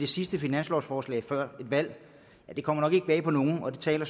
sidste finanslovsforslag før et valg kommer nok ikke bag på nogen og det taler